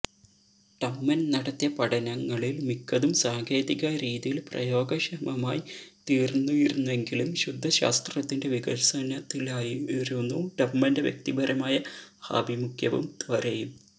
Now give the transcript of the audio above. ടമ്മൻ നടത്തിയ പഠനങ്ങളിൽ മിക്കതും സാങ്കേതികരീതിയിൽ പ്രയോഗക്ഷമമായിത്തീർന്നിരുന്നെങ്കിലും ശുദ്ധശാസ്ത്രത്തിന്റെ വികസനത്തിലായിരുന്നു ടമ്മന്റെ വ്യക്തിപരമായ ആഭിമുഖ്യവും ത്വരയും